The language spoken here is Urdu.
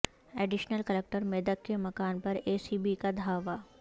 ایڈیشنل کلکٹر میدک کے مکان پر اے سی بی کا دھاوا